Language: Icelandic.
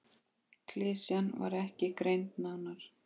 Klisjan var ekki greind nánar.